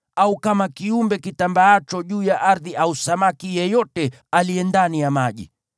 au kama kiumbe kitambaacho juu ya ardhi au samaki yeyote aliye ndani ya maji.